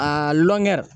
A lɔn